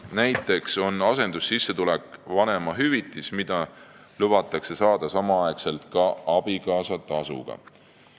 Näiteks on asendussissetulek vanemahüvitis, mida lubatakse saada ka samal ajal abikaasatasuga.